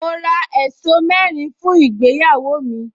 Mo ra ẹ̀ṣọ́ mẹ́rin fún ìgbéyàwó mi